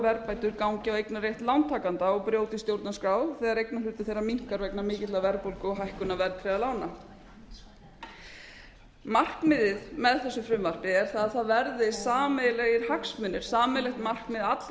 verðbætur gangi á eignarrétt lántakanda og brjóti stjórnarskrá þegar eignarhlutur þeirra minnkar vegna mikillar verðbólgu og hækkunar verðtryggðra lána markmiðið með þessu frumvarpi er það að það verði sameiginlegir hagsmunir sameiginlegt markmið allra